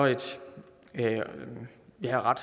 er